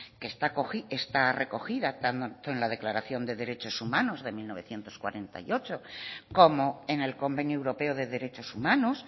que está recogida tanto en la declaración de derechos humanos de mil novecientos cuarenta y ocho como en el convenio europeo de derechos humanos